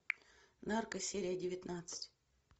нарко серия девятнадцать